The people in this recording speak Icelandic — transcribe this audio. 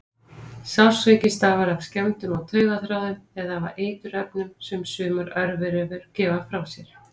Sársauki stafar af skemmdum á taugaþráðum eða af eiturefnum sem sumar örverur gefa frá sér.